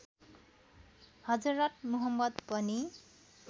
हजरत मुहम्मद पनि